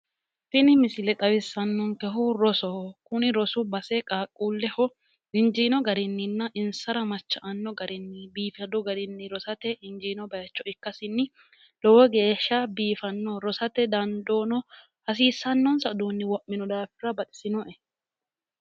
tini misile xawissannonkehu rosoho tini rosu base qaaqquulleho injiino garinninna insara macha''anno garinni biifadu garinni rosate injiino bayiicho ikkasinni lowo geeshsha biifannoho rosate rosate dandoono hasiisannonsa uduunni wo'mino daafira baxisinoe.